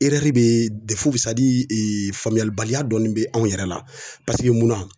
be faamuyalibaliya dɔɔni be anw yɛrɛ la. Paseke munna